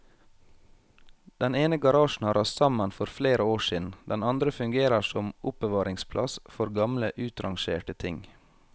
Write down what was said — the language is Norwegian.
Den ene garasjen har rast sammen for flere år siden, den andre fungerer som oppbevaringsplass for gamle utrangerte ting.